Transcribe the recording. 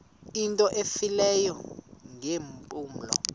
into efileyo ngeempumlo